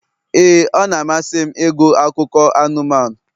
ee, ọ na-amasị m ịgụ akụkọ anụmanụ.